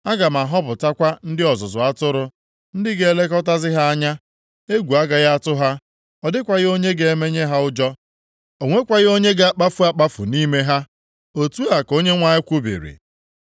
Aga m ahọpụtakwa ndị ọzụzụ atụrụ, ndị ga-elekọtazi ha anya. Egwu agaghị atụ ha, ọ dịkwaghị onye ga-emenye ha ụjọ. O nwekwaghị onye ga-akpafu akpafu nʼime ha.” Otu a ka Onyenwe anyị kwubiri.